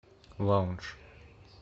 лаундж